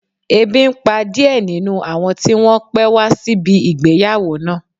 Ebi n pa díẹ̀ nínú àwọn tí wọ́n pé wá síbi ìgbéyàwó náà